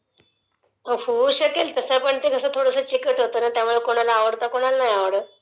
होऊ शकेल तसं पण ते कसं थोडसं चिकट होत ना त्यामुळे कोणाला आवडतं कोणाला नाही आवडतं..